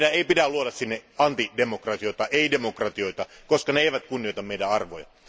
Meidän ei pidä luoda sinne antidemokratioita, ei demokratioita, koska ne eivät kunnioita meidän arvojamme.